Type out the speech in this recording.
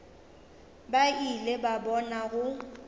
ba ile ba bona go